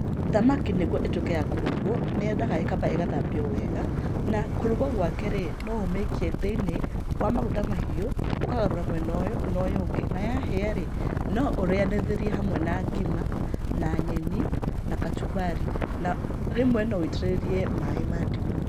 Thamaki nĩguo ĩtuĩke ya kũrugwo, nĩ yendaga ĩkamba ĩgathambio wega, na kũrugwo gwake rĩ, no ũmĩikie thĩinĩ wa maguta mahiũ ũkagarũra mwena ũyũ na ũyũ ũngĩ na yahĩa rĩ, no ũrĩanĩrie hamwe na ngima, na nyeni, na kacumbari na rĩmwe no wũitĩrĩrie maĩ ma ndimũ.